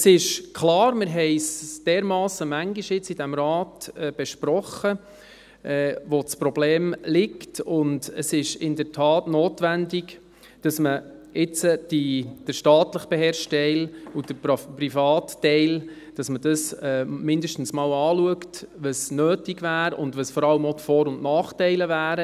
Es ist klar, wir haben in diesem Rat dermassen oft besprochen, wo das Problem liegt, und es ist in der Tat notwendig, dass man jetzt beim staatlich beherrschten Teil und beim privaten Teil mindestens einmal schaut, was notwendig wäre und welches vor allem auch die Vor- und Nachteile wären.